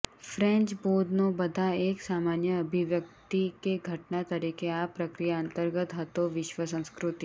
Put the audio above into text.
French બોધનો બધા એક સામાન્ય અભિવ્યક્તિ કે ઘટના તરીકે આ પ્રક્રિયા અંતર્ગત હતો વિશ્વ સંસ્કૃતિ